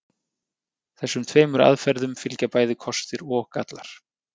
Þessum tveimur aðferðum fylgja bæði kostir og gallar.